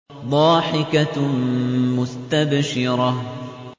ضَاحِكَةٌ مُّسْتَبْشِرَةٌ